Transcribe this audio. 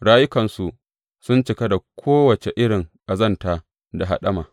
Rayukansu sun cika da kowace irin ƙazanta da haɗama.